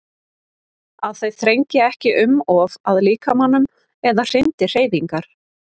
Að þau þrengi ekki um of að líkamanum eða hindri hreyfingar.